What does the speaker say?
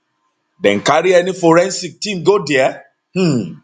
dem carry any forensic team go dia um